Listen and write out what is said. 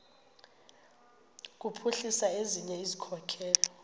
kuphuhlisa ezinye izikhokelo